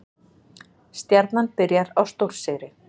Stjarnan byrjar á stórsigri